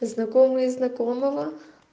знакомые знакомого